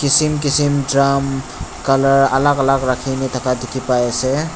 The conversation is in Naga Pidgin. Kisim kisim drum colour alak alak rakhina thaka dekhe pai ase.